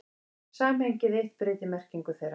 Samhengið eitt breytir merkingu þeirra.